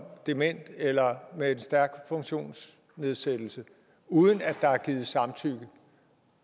dement eller har en stærk funktionsnedsættelse uden at der er givet samtykke